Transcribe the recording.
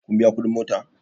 Kun biya kuɗin mota?